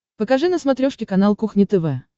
покажи на смотрешке канал кухня тв